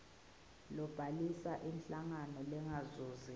kubhalisa inhlangano lengazuzi